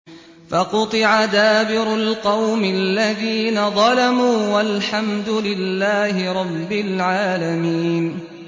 فَقُطِعَ دَابِرُ الْقَوْمِ الَّذِينَ ظَلَمُوا ۚ وَالْحَمْدُ لِلَّهِ رَبِّ الْعَالَمِينَ